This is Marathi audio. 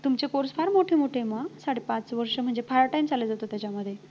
तुमचे course फार मोठे मोठे आहेत म, साडेपाच वर्ष म्हणजे फार time चालले जातो त्याच्यामध्ये